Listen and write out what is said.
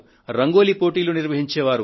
రంగోలీ పోటీ ఉండేది